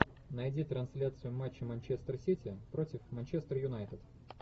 найди трансляцию матча манчестер сити против манчестер юнайтед